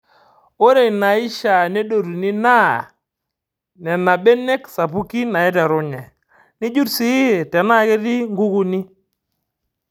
Ore inaaishaa nedotuni naa Nena benek sapuki naaiterenye, nijurr sii tenaa ketii nkukuni.